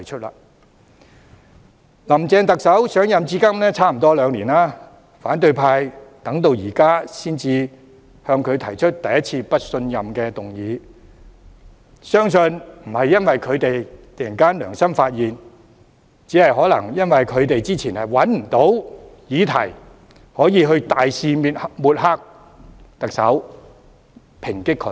林鄭特首上任至今接近兩年，反對派到這一刻才首次對她提出不信任議案，相信並非因為他們突然良心發現，而是可能因為他們之前找不到可以大肆抹黑和抨擊特首的議題。